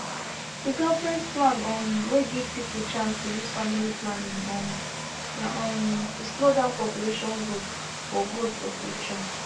the government plan um wey give people chance to use family planning um na um to slow down population growth for growth for future